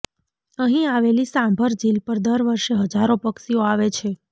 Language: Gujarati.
અહીં આવેલી સાંભર જીલ પર દર વર્ષે હજારો પક્ષીઓ આવે છે